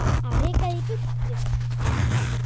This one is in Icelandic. Að reka þig í burtu!